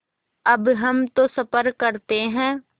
अब हम तो सफ़र करते हैं